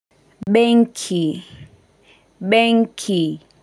Benki, benki.